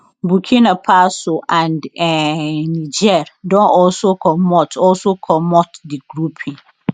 burkina faso and um niger don also commot also commot di grouping